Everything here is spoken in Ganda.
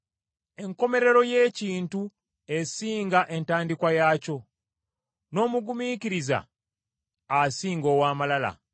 Enkomerero y’ekintu esinga entandikwa yaakyo, n’omugumiikiriza asinga ow’amalala.